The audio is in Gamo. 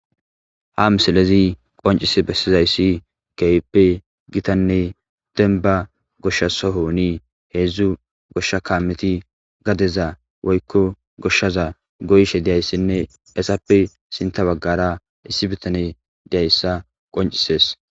Ha misalezi qoncise bessizayssi keyppe gitanne denba goshshasohooni heedzdzu goshsha kameti gadeza woykko goshshaza goyshe deyayssinne esappe sinta baggara issi bitane deyayssa qoncisees.